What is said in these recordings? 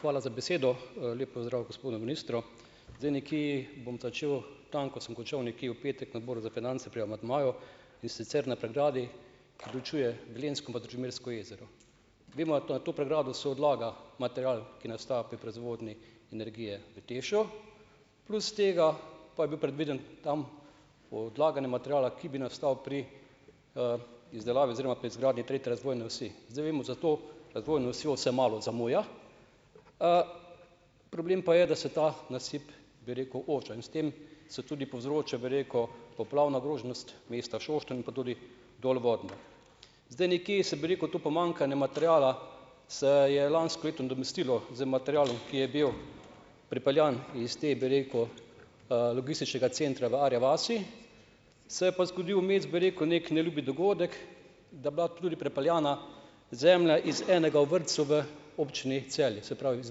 Hvala za besedo. Lep pozdrav gospodu ministru. Zdaj, nekje bom začel, tam, kot sem končal, nekje v petek na Odboru za finance pri amandmaju, in sicer na pregradi, preučuje velenjsko Družmirsko jezero. Vemo, na to na to pregrado se odlaga material, ki nastaja pri proizvodnji energije v TEŠ-u, plus tega pa je bilo predvideno tam odlaganje materiala, ki bi nastal pri, izdelavi oziroma pri izgradnji tretje razvojne osi. Zdaj, vemo za to razvojno osjo se malo zamuja, problem pa je, da se ta nasip, bi rekel, oža in s tem se tudi povzroča, bi rekel, poplavna ogroženost mesta Šoštanj pa tudi dolvodno. Zdaj, nekje se, bi rekel, to pomanjkanje materiala, se je lansko leto nadomestilo z materialom, ki je bil prepeljan iz te, bi rekel, logističnega centra v Arji vasi. Se je pa zgodil vmes, bi rekel, neki neljubi dogodek, da bila tudi prepeljana zemlja iz enega od vrtcev v občini Celje, se pravi iz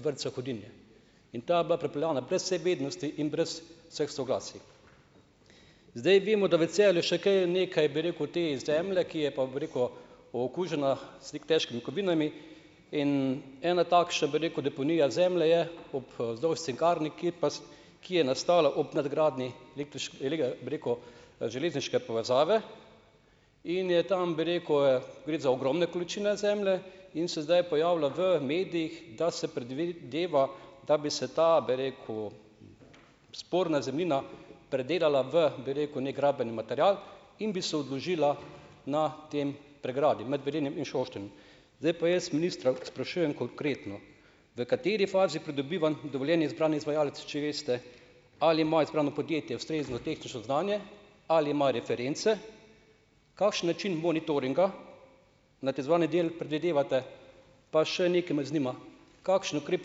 vrtca Hudinje, in ta je bila prepeljana brez vseh vednosti in brez vseh soglasij. Zdaj, vemo, da v Celju še kaj nekaj, bi rekel, te zemlje, ki je pa, bi rekel, okužena s težkimi kovinami in ena takšna, bi rekel, deponija zemlje je ob, vzdolž cinkarni, ki je ki je nastala ob nadgradnji, bi rekel, železniške povezave in je tam, bi rekel, gre za ogromne količine zemlje in se zdaj pojavlja v medijih, da se predvideva, da bi se ta, bi rekel, sporna zemljina predelala v, bi rekel, neki rabljeni material in bi se odložila na tem pregradi, med Velenjem in Šoštanjem. Zdaj pa jaz ministra sprašujem konkretno. V kateri fazi pridobivanj dovoljenj je izbrani izvajalec, če veste, ali ima izbrano podjetje ustrezno tehnično znanje ali ima reference? Kakšen način monitoringa nad izvajanjem del predvidevate? Pa še nekaj me zanima, kakšen ukrep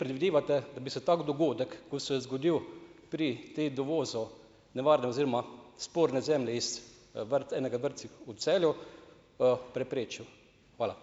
predvidevate, da bi se tak dogodek, ki se je zgodil pri tem dovozu nevarna oziroma sporne zemlje iz, enega vrtcih v Celju, preprečil. Hvala.